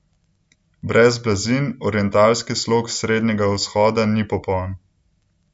Brez blazin orientalski slog Srednjega vzhoda ni popoln!